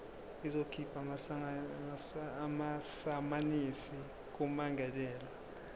izokhipha amasamanisi kummangalelwa